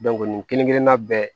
nin kelen kelenna bɛɛ